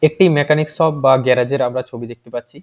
একটি mechanic shop বা গ্যারাজের এর আমরা ছবি দেখতে পাচ্ছি |